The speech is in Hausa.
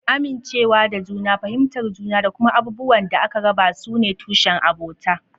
Amincewa da juna, fahimtar juna, da kuma abubuwan da aka raba su ne tushen abota.